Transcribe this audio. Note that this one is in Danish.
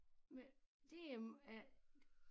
Med det øh er